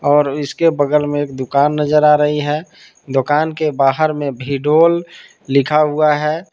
और इसके बगल में एक दुकान नजर आ रही है दोकान के बाहर में विडोल लिखा हुआ है।